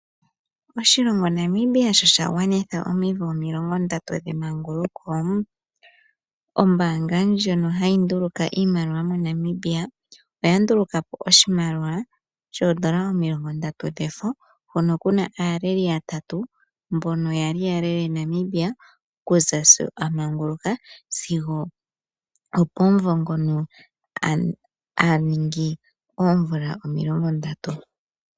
Oshilongo Namibia sho shagwanitha omvula omilongo ndatu dhemanguluko, ombanga ndjono hayi nduluka iimaliwa moNamibia oya ndulukapo oshimaliwa omilongo ndatu shefo. Hono kuna aaleli yatatu mbono yali yalele Namibia okuza sho amanguluka sigo okomumvo ngono aningi omvula omilongo ndatu.